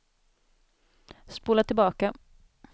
spola tillbaka